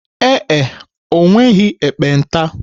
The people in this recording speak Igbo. Ee e, o nweghị ekpenta.